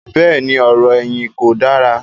bẹ́ẹ̀ni, ọ̀rọ̀-ẹ̀yìn kò dára.